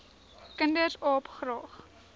kinders aap graag